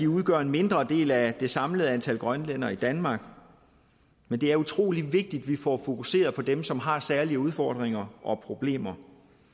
udgør en mindre del af det samlede antal grønlændere i danmark men det er utrolig vigtigt at vi får fokuseret på dem som har særlige udfordringer og problemer